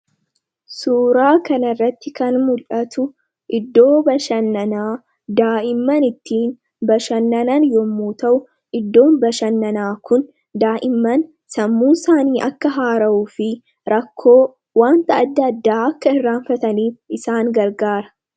suuraa kana irratti kan mul'atu iddoo bashannanaa daa'imman ittii bashannanan yemmuu ta'u iddoon bashannanaa kun daa'imman sammuu isaanii akka haara'uu fi rakkoo wanta addaa addaa akka hirraanfataniif isaan gargaara.